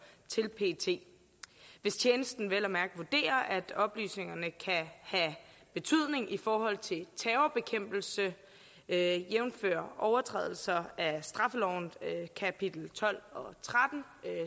til pet hvis tjenesten vel at mærke vurderer at oplysningerne kan have betydning i forhold til terrorbekæmpelse jævnfør overtrædelser af straffelovens kapitel tolv og tretten